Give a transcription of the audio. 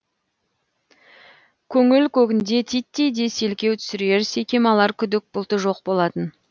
көңіл көгінде титтей де селкеу түсірер секем алар күдік бұлты жоқ болатын